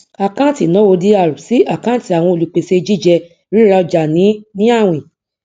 àkáǹtì ìnáwó dr sí àkáǹtì àwọn olùpèsè jíjẹ rírà ọjà ní ní àwìn